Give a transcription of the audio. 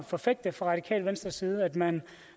forfægte fra radikale venstres side at man